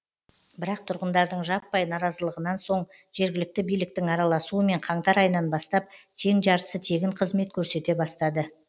бірақ тұрғындардың жаппай наразылығынан соң жергілікті биліктің араласуымен қаңтар айынан бастап тең жартысы тегін қызмет көрсете бастады